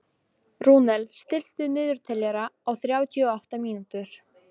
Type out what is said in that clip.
Rúnel, stilltu niðurteljara á þrjátíu og átta mínútur.